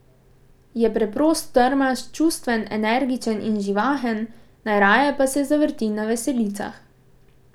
Je preprost, trmast, čustven, energičen in živahen, najraje pa se zavrti na veselicah.